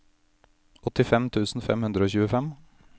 åttifem tusen fem hundre og tjuefem